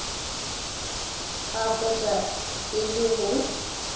ba hwetša e le go